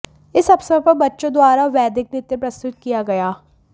इस अवसर पर बच्चों द्वारा वैदिक नृत्य प्रस्तुत किया गया